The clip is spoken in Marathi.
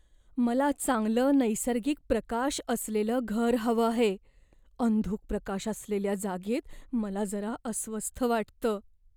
मला चांगलं नैसर्गिक प्रकाश असलेलं घर हवं आहे, अंधुक प्रकाश असलेल्या जागेत मला जरा अस्वस्थ वाटतं.